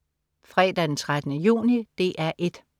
Fredag den 13. juni - DR 1: